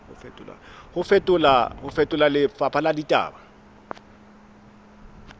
ho fetola lefapha la ditaba